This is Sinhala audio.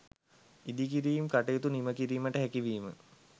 ඉදිකිරීම් කටයුතු නිම කිරීමට හැකිවීම